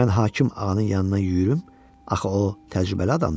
Mən hakim ağanın yanına yüyürüm, axı o təcrübəli adamdır.